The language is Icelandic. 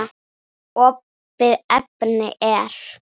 Opið efni er